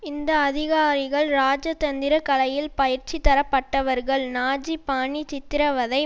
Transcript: இந்த அதிகாரிகள் இராஜதந்திர கலையில் பயிற்சி தரப்பட்டவர்கள் நாஜி பாணி சித்திரவதை